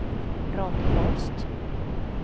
Ronny Holst